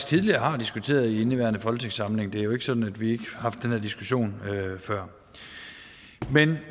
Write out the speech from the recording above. tidligere har diskuteret i indeværende folketingssamling det er jo ikke sådan at vi har haft den her diskussion før